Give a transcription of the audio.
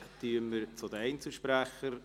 – Dann kommen wir zu den Einzelsprechern.